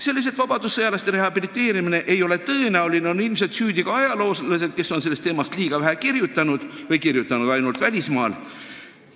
Selles, et vabadussõjalaste rehabiliteerimine ei ole tõenäoline, on ilmselt süüdi ka ajaloolased, kes on sellest teemast liiga vähe kirjutanud või kirjutanud ainult välismaal.